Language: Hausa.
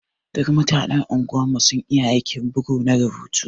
Duk mutanen unguwan mu sun iya aiki bugu na rubutu.